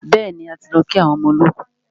Bẹ́ẹ̀ni, a ti lọ kí àwọn ọmọ olọ́kù.